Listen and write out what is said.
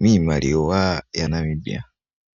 kiimaliwa yaNamibia.